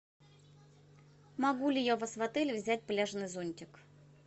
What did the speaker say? могу ли я у вас в отеле взять пляжный зонтик